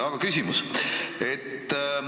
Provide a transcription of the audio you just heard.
Aga minu küsimus on selline.